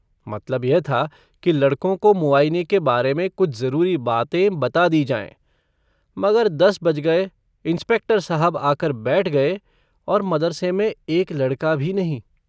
मतलब यह था कि लड़कों को मुआइने के बारे में कुछ जरूरी बातें बता दी जाएँ। मगर दस बज गए। इंस्पेक्टर साहब आकर बैठ गए और मदरसे में एक लड़का भी नहीं।